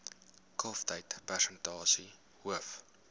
kalftyd persentasie hoof